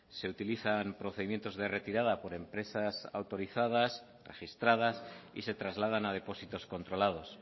se utilizan procedimientos de retirada por empresas autorizadas registradas y se trasladan a depósitos controlados